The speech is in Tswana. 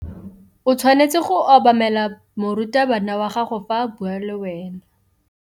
O tshwanetse go obamela morutabana wa gago fa a bua le wena.